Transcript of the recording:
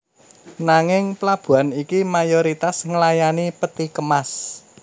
Nanging plabuhan iki mayoritas nglayani peti kemas